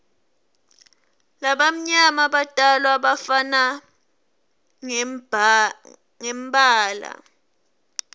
labamnyama batalwa bafana ngembala